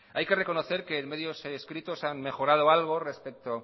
hay que reconocer que en medios escritos se ha mejorado algo respecto